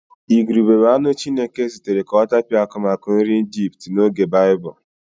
Ìgùrùbè bụ anụ Chineke zitere ka ọ tapịa akụmakụ nri Ijipt n'oge Baịbụl.